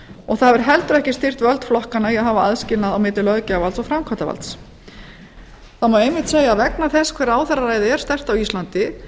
og það hefur heldur ekki styrkt völd flokkanna í að hafa aðskilnað á milli löggjafarvalds og framkvæmdarvalds það má einmitt segja að vegna þess hve ráðherraræðið er sterkt á íslandi